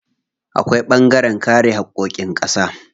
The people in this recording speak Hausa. Akwai ɓangaren kare haƙƙoƙin ƙasa.